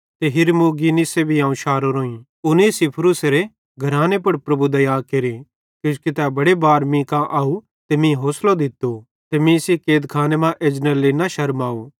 उनेसिफुरूसेरे घराने पुड़ प्रभु दया केरे किजोकि तै बड़े बार मीं कां आव ते मीं होसलो दित्तो ते मीं सेइं कैदखाने मां एजनेरे लेइ न शरमाव